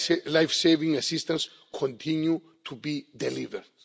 Life saving assistance continues to be delivered.